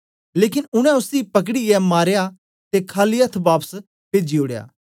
लेकन उनै उसी पकडीऐ मारेया ते खाली अथ्थ बापस पेजी ओड़या